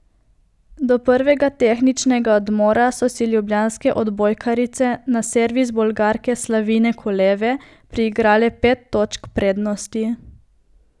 Do prvega tehničnega odmora so si ljubljanske odbojkarice na servis Bolgarke Slavine Koleve priigrale pet točk prednosti.